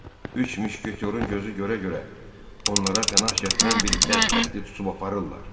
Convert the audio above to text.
Üç müşketiyorun gözü görə-görə onlara pənah gətirən bir bədbəxti tutub aparırlar.